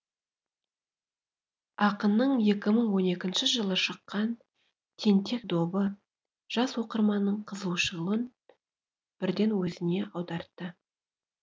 ақынның екі мың он екінші жылы шыққан тентек добы жас оқырманның қызығушылығын бірден өзіне аудартты